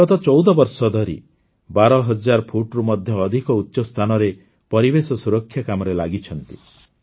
ସେ ଗତ ୧୪ ବର୍ଷ ଧରି ୧୨ ହଜାର ଫୁଟରୁ ମଧ୍ୟ ଅଧିକ ଉଚ୍ଚ ସ୍ଥାନରେ ପରିବେଶ ସୁରକ୍ଷା କାମରେ ଲାଗିଛନ୍ତି